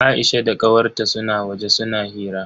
Aisha da kawar ta suna waje suna hira.